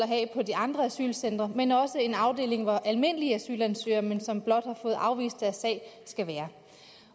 have på de andre asylcentre men også en afdeling hvor almindelige asylansøgere som blot har fået afvist deres sag skal være